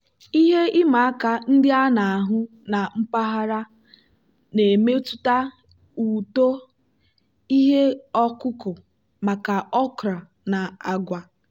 ihe ịma aka ndị a na-ahụ na mpaghara na-emetụta uto ihe ọkụkụ maka okra na agwa.